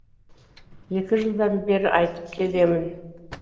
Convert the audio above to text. екі жылдан бері айтып келемін